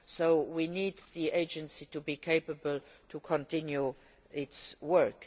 So we need the agency to be able to continue its work.